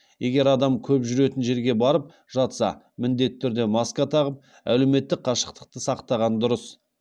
егер адам көп жүретін жерге барып жатса міндетті түрде маска тағып әлеуметтік қашықтықты сақтаған дұрыс